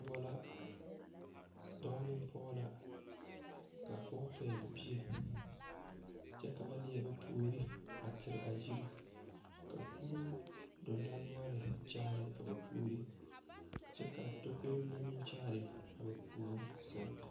Noba la dɔɔ neŋ pɔge la k,a pɔge pɛgle bie kyɛ ka ba leɛ ba puori a tere a yiri ka kuruu dendɔnoɔre a kyaare a ba puori kyɛ k,a takoe mine meŋ kyaare a ba puori seŋ.